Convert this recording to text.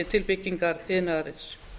til byggingar iðnaðarins